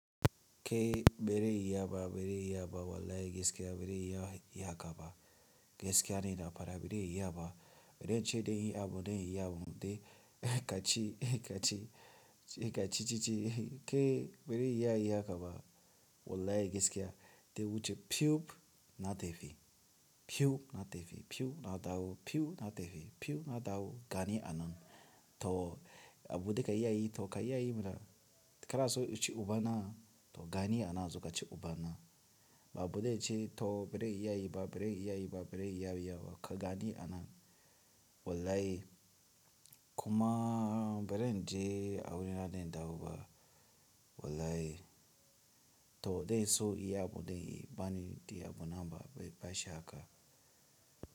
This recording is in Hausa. Ke bare iya ba, bare iya ba wallahi gaskiya bare iya haka ba. Gaskiya ne na fara bare iya ba. Bere ince dai yi abu dai yi abu de ka ci ka ci ka ci ci ci ke bare iya yayi hakaba wallahi gaskiya. Na wuce fiub na tafi, fiub na tafi, fiub na dawo, fiub na tafi, fiub na dawo gani anan. To abunda ka iya yi to ka iya yi mana. Kanaso in ci ubana to gani anan zo ka ci ubana. Ba bude ce to belare iya yi ba, bare iya yi ba, bare iya yi ba ka gani anan. Wallahi, kumaa baren je a wuri na dai na dawo ba. Wallahi, to zai so yayi abu dai yi bani diya bunamba bai sha haka.